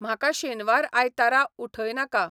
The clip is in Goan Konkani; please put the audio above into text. म्हाका शेनवार आयतारा उठयनाका